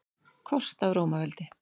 Kort af Rómaveldi.